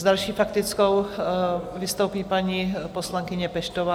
S další faktickou vystoupí paní poslankyně Peštová.